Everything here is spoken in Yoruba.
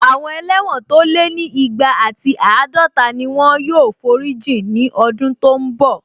Àwọn ẹlẹ́wọ̀n tó lé ní igba ati àádọta ni wọ́n yóò forí jìn ní ọdún tó n bọ̀